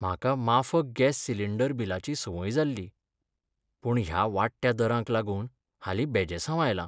म्हाका माफक gas cylinder बिलाची संवय जाल्ली, पूणह्या वाडट्या दारांक लागून हालीं बेजेसांव आयलां.